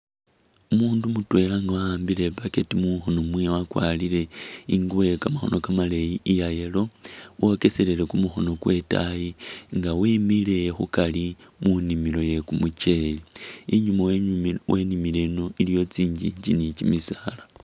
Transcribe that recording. Umundu mutweela nga wa'ambile i'backet mukhono mwewe wakwarile ingubo iye kamakhono kamaleeyi iya'yellow wokeselele kumukhono kwewe itaayi nga wemile khukari munimilo ye kumucheli inyuma wenyu wenimile ino iliyo tsingingi ni'kimisaala